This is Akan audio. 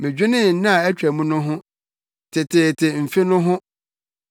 Medwenee nna a atwam no ho, teteete mfe no ho;